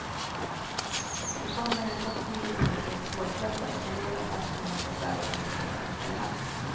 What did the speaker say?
Men fonden är trots sin givmildhet svårflirtad och en del av satsningen får företagen stå för själva.